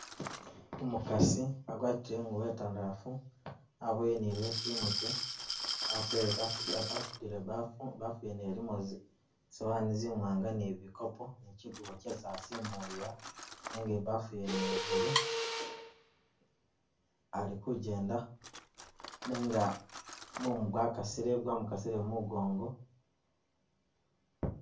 Umukasi agwatile i'ngubo i'ntandalafu waboyile ni leso i'mutwe atele a a asudile bafu, bafu yene ilimo zisawani ni bikoopo ni chikubo chisi asimulila nenga i'bafu wene ya blue ali kujenda nenga mumu gwakasile, gwamukasile mumugongo